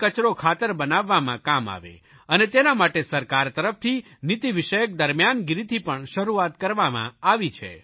તે કચરો ખાતર બનાવવામાં કામ આવે અને તેના માટે સરકાર તરફથી નીતિવિષયક દરમિયાનગીરીથી પણ શરૂઆત કરવામાં આવી છે